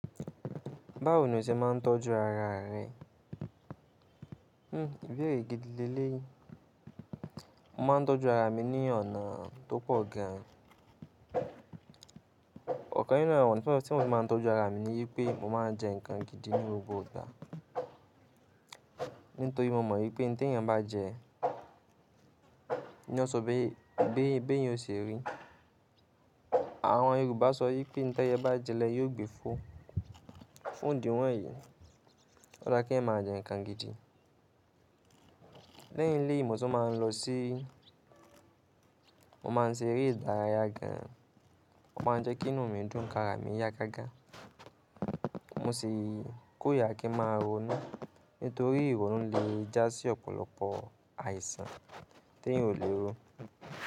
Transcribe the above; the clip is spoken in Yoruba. Báwo ni o se máa ń tọ́jú ara rẹ? Hmm ìbéèrè gidi léleyi. Mo máa ń tọ́jú ara mi ní ọ̀nà tó pọ̀ gan. Ọ̀kan nínú àwọn ọna tí mo ṣe máa ń tọ́jú ara mi ni wípé mo máa ń jẹ ǹkan gidi ní gbogbo ìgbà. Nítorí mo mọ̀ wípé ìn tí èèyàn bá jẹ, ni o sọ pé bí èèyàn o se rí. Àwọn Yorùbá sọ wípé ìn tí ẹyẹ bá jẹ́ lẹyẹ ò gbe fo, fun idì wọ̀nyí. Ó dá kí èèyàn máa jẹ ǹkan gidi. Lẹ́yìn eléyìí, mo tún máa ń lọ sí, mo máa ń ṣe eré ìdárayá gan, ó máa ń jẹ́ kí inú mi dùn kí ara mi yá gágá. Mo sì korira kí n máa ronú nítorí ìrònú lè já sí ọ̀pọ̀lọpọ̀ àìsàn tí èèyàn ò lè rí.